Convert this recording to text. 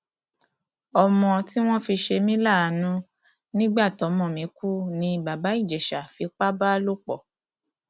ọmọ tí wọn fi ṣe mí láàánú nígbà tọmọ mi kú ni bàbá ìjẹsà fipá bá lò pọ